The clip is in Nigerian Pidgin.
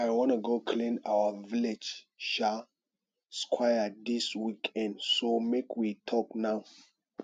i wanna go help clean our village um square dis weekend so make we talk now